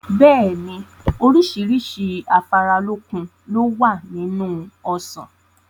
Bẹ́ẹ̀ni, oríṣiríṣi afáralókun lowa nínú Ọsàn.